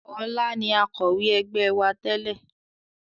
Ọlá ni Akọ̀wé ẹgbẹ́ wá tẹ́lè